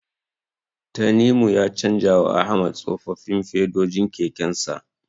Tanimu ya canjawa Ahmad tsofaffin fedojin kekensa.